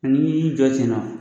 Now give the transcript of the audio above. ni y'i jɔ sen na